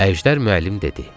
Əjdər müəllim dedi.